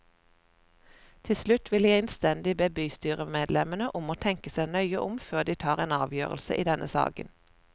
Til slutt vil jeg innstendig be bystyremedlemmene om å tenke seg nøye om før de tar en avgjørelse i denne saken.